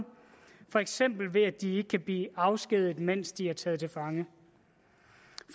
for eksempel ved at de ikke kan blive afskediget mens de er taget til fange